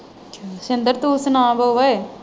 ਸ਼ਿੰਦਰ ਤੂੰ ਸੁਣਾ ਬੋਲ ਓਏ